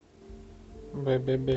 бе бе бе